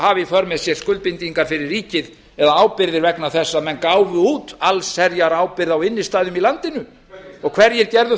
för með sér skuldbindingar fyrir ríkið eða ábyrgðir vegna þess að menn gáfu út allsherjarábyrgð á innstæðum í landinu heyrir gerðu